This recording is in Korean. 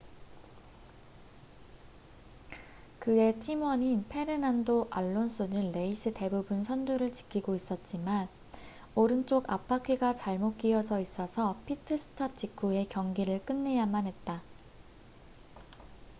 그의 팀원인 페르난도 알론소는 레이스 대부분 선두를 지키고 있었지만 오른쪽 앞바퀴가 잘못 끼어져있어서 피트 스탑 직후에 경기를 끝내야만 했다